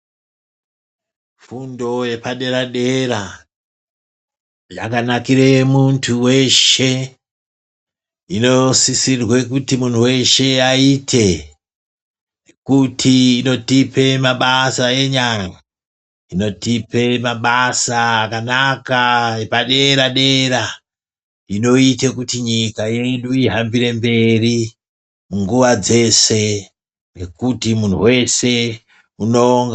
Fundo yepadera-dera yakanakire muntu veshe inosisirwe kuti muntu veshe aite. Nekuti inotipe mabasa enyara inotipe mabasa akanaka epadera-dera, inoite kuti nyika yedu ihambire mberi, nguva dzese ngekuti muntu vese uno.....